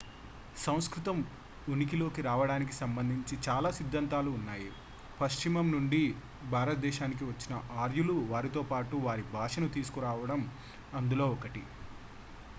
సంస్కృతం ఉనికిలోకి రావడానికి సంబంధించి చాలా సిద్ధాంతాలు ఉన్నాయి పశ్చిమం నుండి భారతదేశానికి వచ్చిన ఆర్యులు వారితో పాటు వారి భాషను తీసుకురావడం అందులో ఒకటి